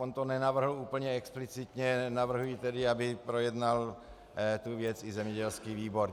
On to nenavrhl úplně explicitně, navrhuji tedy, aby projednal tu věc i zemědělský výbor.